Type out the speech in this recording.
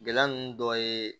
Gɛlɛya ninnu dɔ ye